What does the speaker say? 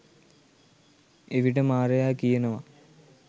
එවිට මාරයා කියනවා